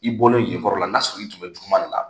I bɔlen yen yɔrɔ la n'a sɔrɔ tun bɛ kuma de la.